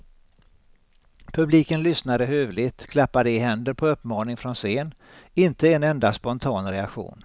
Publiken lyssnade hövligt, klappade i händer på uppmaning från scen, inte en enda spontan reaktion.